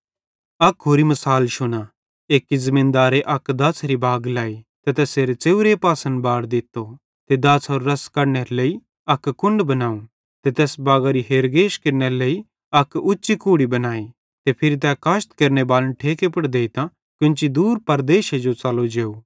अक होरि मिसाल शुना एक्की ज़मीनदारे अक दाछ़ारी बाग लाई ते तैसेरे च़ेव्रे पासन बाड़ दित्तो ते दाछ़रो रस कढनेरे लेइ अक हौवज़ बनावं ते तैस बागरी हेरगेश केरनेरे लेइ अक उच्ची कूड़ी बनाई ते फिरी तै काशत केरनेबालन ठेके पुड़ देइतां कोन्च दूर प्रदेशे जो च़लो जेव